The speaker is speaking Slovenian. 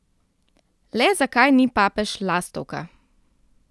Le zakaj ni papež lastovka?